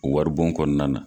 O waribon kɔnɔna na